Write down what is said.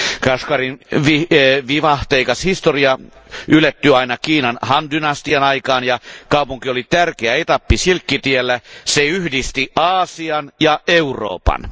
Kashgarin vivahteikas historia ylettyy aina Kiinan Han dynastian aikaan, ja kaupunki oli tärkeä etappi silkkitiellä, se yhdisti Aasian ja Euroopan.